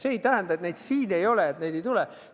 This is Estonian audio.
See ei tähenda, et kui neid siin ei ole, siis neid ei tule.